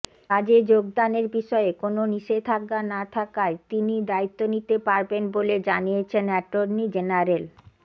কাজে যোগদানের বিষয়ে কোনও নিষেধাজ্ঞা না থাকায় তিনি দায়িত্ব নিতে পারবেন বলে জানিয়েছেন অ্যাটর্নি জেনারেল